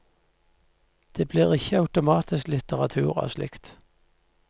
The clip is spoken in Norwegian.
Det blir ikke automatisk litteratur av slikt.